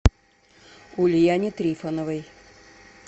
ульяне трифоновой